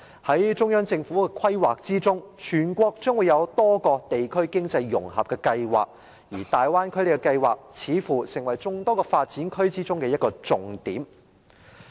在中央政府的規劃中，全國將會有多個地區經濟融合計劃。而大灣區計劃，似乎成為眾多發展區中的一個重點。